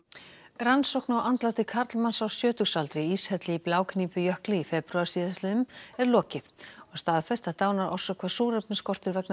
rannsókn á andláti karlmanns á sjötugsaldri í íshelli í Blágnípujökli í febrúar síðastliðnum er lokið og staðfest að dánarorsök var súrefnisskortur vegna